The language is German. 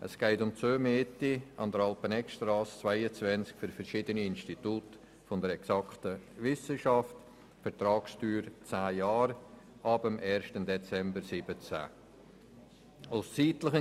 Es geht um die Zumiete an der Alpeneggstrasse 22 für verschiedene Institute der Exakten Wissenschaften bei einer Vertragsdauer von zehn Jahren ab dem 1. Dezember 2017.